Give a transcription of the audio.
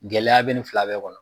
Gɛlɛya bɛ nin fila bɛɛ kɔnɔ